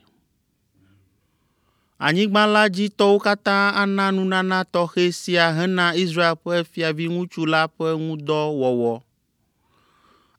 Anyigba la dzi tɔwo katã ana nunana tɔxɛ sia hena Israel ƒe fiaviŋutsu la ƒe ŋu dɔ wɔwɔ.